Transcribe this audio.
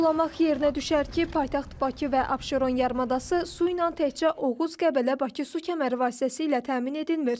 Vurğulamaq yerinə düşər ki, paytaxt Bakı və Abşeron yarımadası su ilə təkcə Oğuz-Qəbələ-Bakı su kəməri vasitəsilə təmin edilmir.